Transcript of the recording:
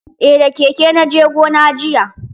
Eh da keke na je gona jiya.